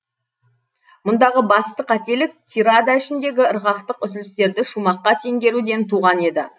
мұндағы басты қателік тирада ішіндегі ырғақтық үзілістерді шумаққа теңгеруден туған еді